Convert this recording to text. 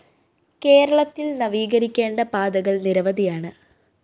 കേരളത്തില്‍ നവീകരിക്കേണ്ട പാതകള്‍ നിരവധിയാണ